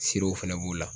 Siraw fɛnɛ b'u la